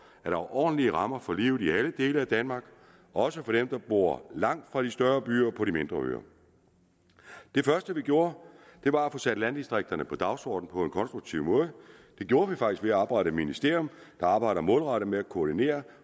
er ordentlige rammer for livet i alle dele af danmark også for dem der bor langt fra de større byer og dem på de mindre øer det første vi gjorde var at få sat landdistrikterne på dagsordenen på en konstruktiv måde det gjorde vi faktisk ved at oprette et ministerium der arbejder målrettet med at koordinere